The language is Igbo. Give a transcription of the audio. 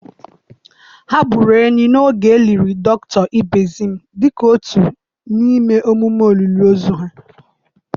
Ha gburu ehi n'oge e liri dọkịta Ibezim dịka otu n'ime emume olili ozu ha.